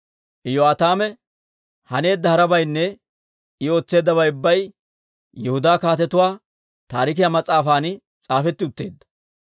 Iyo'aataame haneedda harabaynne I ootseeddabay ubbay Yihudaa Kaatetuwaa Taarikiyaa mas'aafan s'aafetti utteedda.